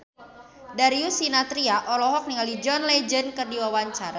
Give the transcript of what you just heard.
Darius Sinathrya olohok ningali John Legend keur diwawancara